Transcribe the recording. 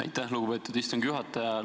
Aitäh, lugupeetud istungi juhtaja!